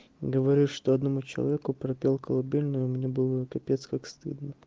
говорю что одному человеку пропел колыбельную мне было капец как стыдно